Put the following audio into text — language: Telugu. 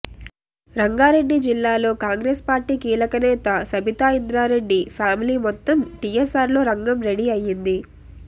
రంగారెడ్డి జిల్లాలో కాంగ్రెస్ పార్టీ కీలకనేత సబితా ఇంద్రారెడ్డి ఫ్యామిలీ మొత్తం టీఆర్ఎస్లో రంగం రెడీ అయింది